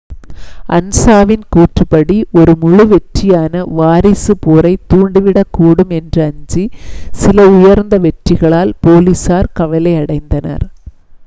"அன்சாவின் கூற்றுப்படி "ஒரு முழு-வெற்றியான வாரிசு போரைத் தூண்டிவிடக்கூடும் என்று அஞ்சி சில உயர்ந்த வெற்றிகளால் போலீசார் கவலையடைந்தனர்.